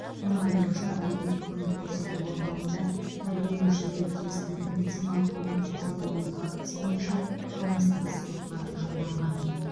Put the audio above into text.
оның айтуынша әлеуметтік көмек көрсету орталығында тәрбиеленушілерге тиісті медициналық көмек көрсетілмеу фактісі бойынша қылмыстық іс сотқа жолданған